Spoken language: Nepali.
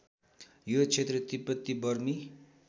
यो क्षेत्र तिब्बती बर्मी